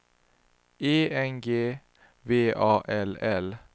E N G V A L L